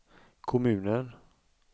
kommunen